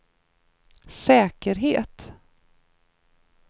säkerhet